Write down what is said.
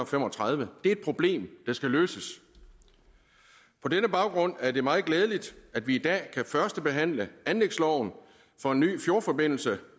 fem og tredive et problem der skal løses på denne baggrund er det meget glædeligt at vi i dag kan førstebehandle anlægsloven for en ny fjordforbindelse